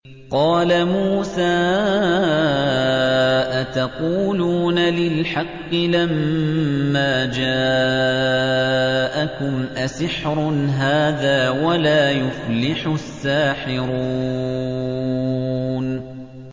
قَالَ مُوسَىٰ أَتَقُولُونَ لِلْحَقِّ لَمَّا جَاءَكُمْ ۖ أَسِحْرٌ هَٰذَا وَلَا يُفْلِحُ السَّاحِرُونَ